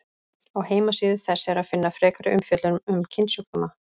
Á heimasíðu þess er að finna frekari umfjöllun um kynsjúkdóma.